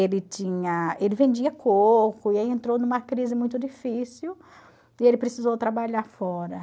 Ele tinha ele vendia coco e aí entrou numa crise muito difícil e ele precisou trabalhar fora.